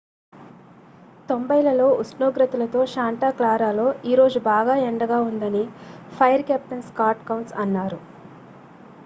"""90లలో ఉష్ణోగ్రతలతో శాంటా క్లారాలో ఈరోజు బాగా ఎండగా ఉందని ఫైర్ కెప్టెన్ స్కాట్ కౌన్స్ అన్నారు.